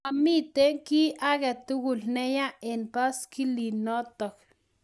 mamito kiy agetugul ne yaa eng baiskelit nitok